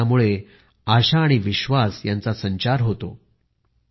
त्यांच्यात आशा आणि विश्वास ह्यांचा संचार होतो